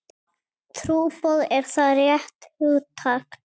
Trúboð, er það rétt hugtak?